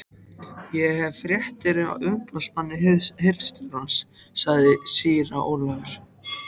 Ég hef fréttir frá umboðsmanni hirðstjórans, sagði síra Ólafur.